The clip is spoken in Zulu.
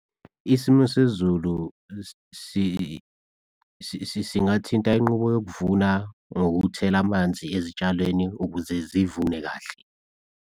Isimo sezulu singathinta inqubo yokuvuna ngokuthela amanzi ezitshalweni ukuze zivune kahle.